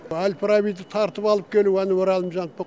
әл фарабиді тартып алып келуі әнуар әлімжановтың